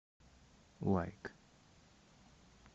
лайк